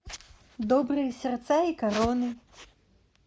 добрые сердца и короны